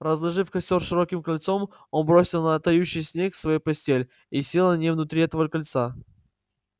разложив костёр широким кольцом он бросил на тающий снег свою постель и сел на ней внутри этого кольца